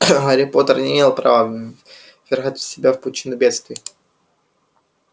гарри поттер не имеет права ввергать себя в пучину бедствий